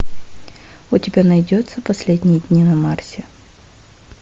у тебя найдется последние дни на марсе